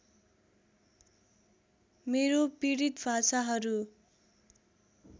मेरो पीडित भाषाहरू